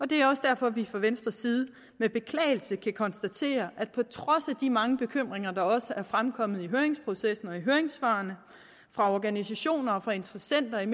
det er også derfor at vi fra venstres side med beklagelse kan konstatere at på trods af de mange bekymringer der også er fremkommet i høringsprocessen og i høringssvarene fra organisationer og interessenter i